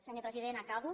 senyor president acabo